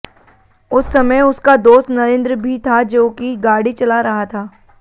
उस समय उसका दोस्त नरेन्द्र भी था जोकि गाड़ी चला रहा था